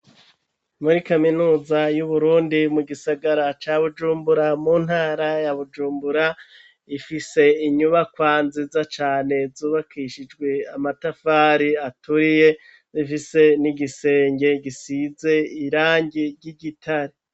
Muri kaminuza y'Uburundi mu gisagara ca Bujumbura mu ntara ya Bujumbura, ifise inyubakwa nziza cane zubakishijwe amatafari aturiye zifise n'igisenge gisize irangi ry'igitare.